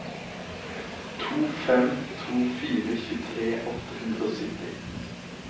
to fem to fire tjuetre åtte hundre og sytti